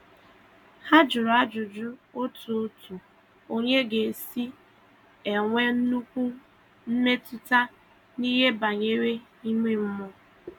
Ha jụrụ ajụjụ otu otu onye ga - esi enwe nnukwu mmetụta n'ihe banyere ime mmụọ.